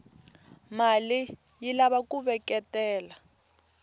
male yilava kuveketela